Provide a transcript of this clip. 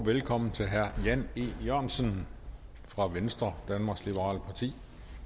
velkommen til herre jan e jørgensen fra venstre danmarks liberale parti